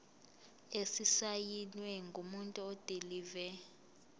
esisayinwe ngumuntu odilive